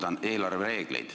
Kordan: eelarvereegleid.